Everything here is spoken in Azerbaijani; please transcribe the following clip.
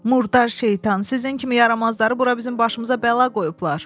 Murdar şeytan, sizin kimi yaramazları bura bizim başımıza bəla qoyublar.